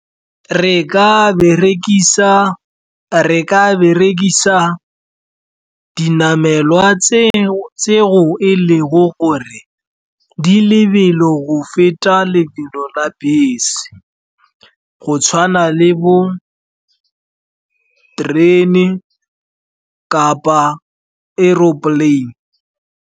Re ka berekisa dinamelwa tseo e leng gore di lebelo o feta lebelo la bese, go tshwana le bo terene kapa aeroplane.